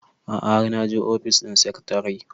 a'a har naje ofis ɗin sekatare